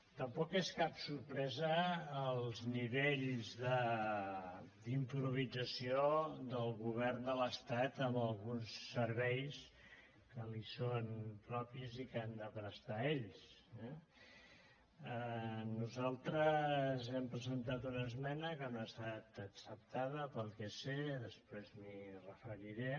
tampoc és cap sorpresa els nivells d’improvisació del govern de l’estat en alguns serveis que li són propis i que han de prestar ells eh nosaltres hem presentat una esmena que no ha estat acceptada pel que sé després m’hi referiré